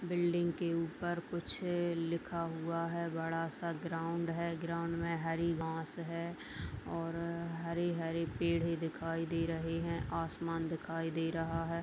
Building के ऊपर कुछ लिखा हुआ है बड़ा सा ग्राउन्ड है ग्राउन्ड में हरी घास है और हरी हरी पेड़ भी दिखाई दे रहे हैं आसमान दिखाई दे रहा है।